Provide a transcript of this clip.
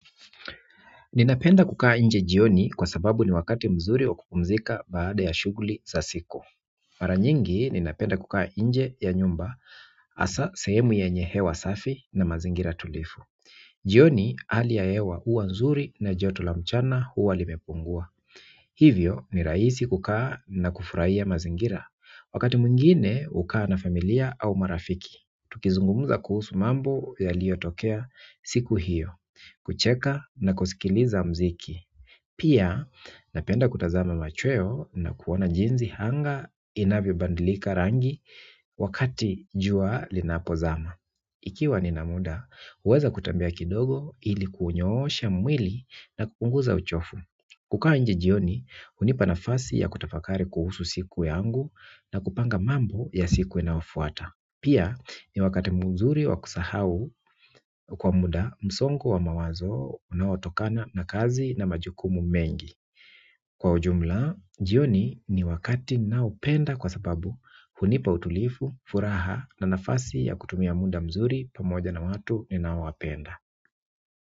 Ninapenda kukaa nje jioni kwa sababu ni wakati mzuri wa kupumzika baada ya shuguli za siku mara nyingi ninapenda kukaa nje ya nyumba hasa sehemu yenye hewa safi na mazingira tulivu jioni hali ya hewa huwa nzuri na joto la mchana huwa limepungua hivyo ni raisi kukaa na kufurahia mazingira wakati mwingine hukaa na familia au marafiki tukizungumuza kuhusu mambo yaliyo tokea siku hiyo kucheka na kusikiliza mziki. Pia napenda kutazama machweo na kuona jinsi anga inavyo badilika rangi wakati jua linapo zama. Ikiwa nina muda, huweza kutembea kidogo ili kuunyosha mwili na kupunguza uchovu. Kukaa nje jioni, hunipa nafasi ya kutafakari kuhusu siku yangu na kupanga mambo ya siku inayo fuata. Pia ni wakati mzuri wa kusahau kwa muda msongo wa mawazo unaotokana na kazi na majukumu mengi. Kwa ujumla, jioni ni wakati naopenda kwa sababu hunipa utulivu, furaha na nafasi ya kutumia muda mzuri pamoja na watu ninaowapenda.